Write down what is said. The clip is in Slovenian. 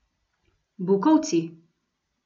Bukovci.